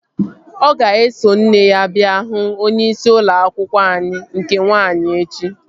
Ọ ga-eso nne ya bịa hụ onyeisi ụlọ akwụkwọ anyị nke nwaanyị echi